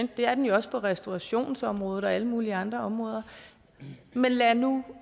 det er den jo også på restaurationsområdet og på alle mulige andre områder men lad nu